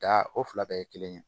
Da o fila bɛɛ ye kelen ye